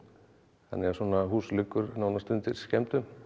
þannig að svona hús liggur nánast undir skemmdum